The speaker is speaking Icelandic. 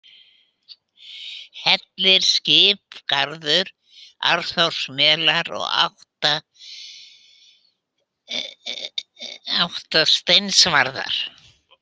Hellirinn, Skiphólsgarður, Arnórsmelur, Áttasteinsvarða